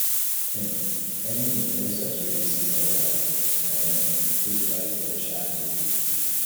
um many influencers wey we see online na um fake life dem um de live